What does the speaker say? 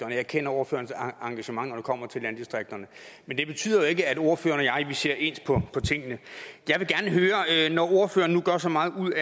og jeg kender ordførerens engagement når det kommer til landdistrikterne men det betyder ikke at ordføreren og jeg ser ens på tingene når ordføreren nu gør så meget ud